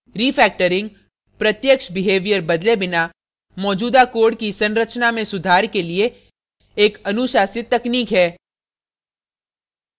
refactoring प्रत्यक्ष behavior बदले बिना मौजूदा code की संरचना में सुधार के लिए एक अनुशासित technique है